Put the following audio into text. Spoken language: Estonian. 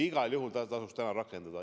Igal juhul tasuks seda täna rakendada.